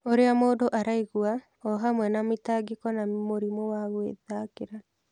ũrĩa mũndũ araigua, o hamwe na mĩtangĩko na mũrimũ wa gwĩthikĩra.